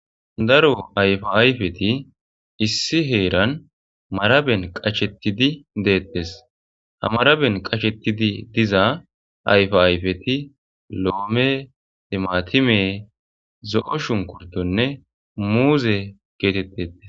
Daro ayfa ayfeti issi herani marabeni qachetidi detesi, ha marabeni qachetidi diza ayfa ayfeti loome,timatime , zo'o shunkurtonne muuze getetesi.